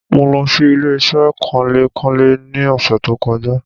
Mo lo sí ilé-isé kanlé-kanlé ni òsè tó kojá